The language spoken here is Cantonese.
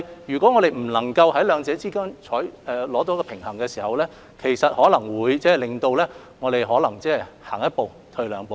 如果不能在兩者之間取得平衡，我們可能會每向前走一步，便同時要倒退兩步。